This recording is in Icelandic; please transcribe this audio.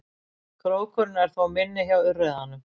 Krókurinn er þó minni hjá urriðanum.